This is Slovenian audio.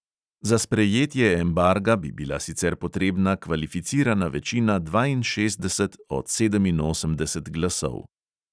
Za sprejetje embarga bi bila sicer potrebna kvalificirana večina dvainšestdeset od sedeminosemdeset glasov.